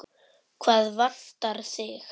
Hvað vantar þig?